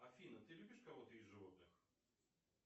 афина ты любишь кого то из животных